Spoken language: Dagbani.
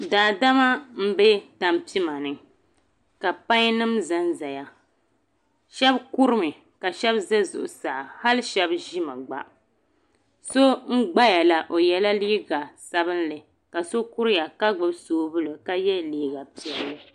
Daa dama nbɛ tampima ni ka paɛn nim zan zaya shɛb kuri mi ka shɛb za Zuɣusaa hali shɛb zimi gba so n gbaya la o yiɛ la liiga sabinli ka so kuriya ka gbubi sobuli ka yiɛ liiga piɛli.